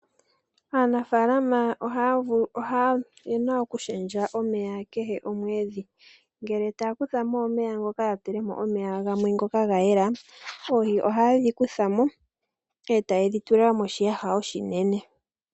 Aanafaalama oyena okushendja omeya kehe komwedhi, ngele taya kuthamk omeya ngoka ya tulemo omeya gamwe ngoka ga yela oohi ohayedhi kuthamo e tayedhi tula moshiyaha oshinene.